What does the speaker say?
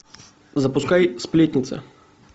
запускай сплетница